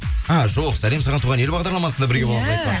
а жоқ сәлем саған туған ел бағдарламасында